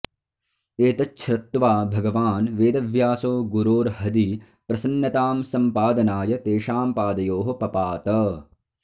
एतच्छ्र त्वा भगवान् वेदव्यासो गुरोर्हदि प्रसन्नतां सम्पादनाय तेषां पादयोः पपात